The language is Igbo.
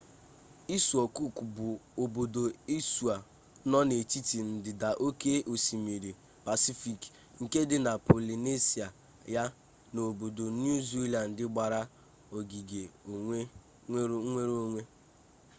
isuo kuk bụ obodo isuo nọ n'etiti ndịda oke osimiri pasifik nke dị na polinesia ya na obodo niu zilandị gbara ogige nwere onwe